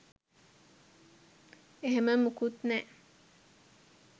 එහෙම මොකුත් නෑ.